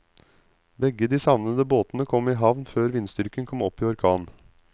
Begge de savnede båtene kom i havn før vindstyrken kom opp i orkan.